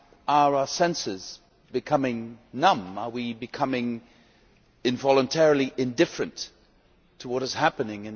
Are our senses becoming numb, are we becoming involuntarily indifferent to what is happening?